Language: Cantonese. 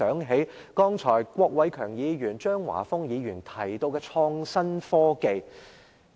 主席，郭偉强議員、張華峰議員剛才提到創新科技。